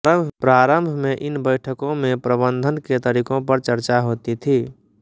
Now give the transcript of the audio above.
प्रारम्भ में इन बैठकों में प्रबन्धन के तरीकों पर चर्चा होती थी